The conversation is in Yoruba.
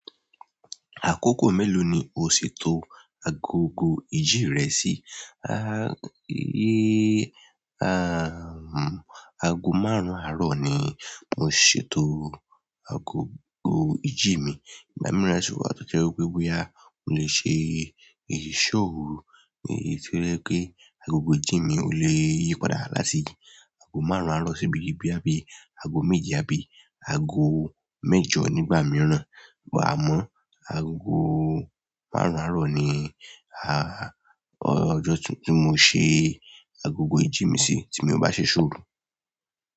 Àkókò mélòó ni o ṣètò agogo ìjí rẹ sí? Aago márùn àárọ̀ ni mo ṣètò agogo ìjí mi. Ìgbà mìíràn sì wà tó jẹ́ wípé bóyá mo lè ṣe ìṣò oru, èyí tí ó jẹ kí agogo ìjí mi ò lè yí padà láti aago márùn àárọ̀ si bi boya bíi aago méje àbí aago mẹ́jọ nígbà mìíràn. Àmọ́ aago márùn àárọ̀ ni, ọjọ́ tí mo ṣe agogo ìjí mi sí tí mi o bá ṣe iṣò oru.